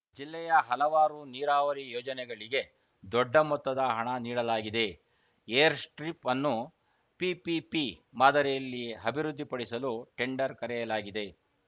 ಜಿಲ್ಲೆಯ ಹಲವಾರು ನೀರಾವರಿ ಯೋಜನೆಗಳಿಗೆ ದೊಡ್ಡ ಮೊತ್ತದ ಹಣ ನೀಡಲಾಗಿದೆ ಏರ್‌ಸ್ಟ್ರಿಪ್‌ ಅನ್ನು ಪಿಪಿಪಿ ಮಾದರಿಯಲ್ಲಿ ಅಭಿವೃದ್ದಿಪಡಿಸಲು ಟೆಂಡರ್‌ ಕರೆಯಲಾಗಿದೆ